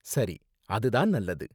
சரி, அது தான் நல்லது.